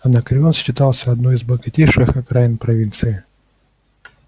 анакреон считался одной из богатейших окраинных провинций